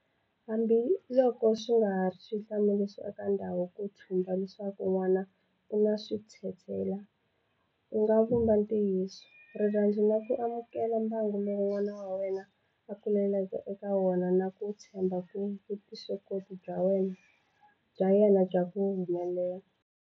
Hambiloko swi nga ha va xihlamariso eka ndyangu ku thumba leswaku n'wana u na switshetshela, u nga vumba ntwiyiso, rirhandzu na ku amukela mbangu lowu n'wana wa wena a kulaka eka wona na ku tshemba eka vuswikoti bya yena bya ku humelela.